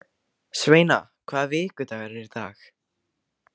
Sveina, hvaða vikudagur er í dag?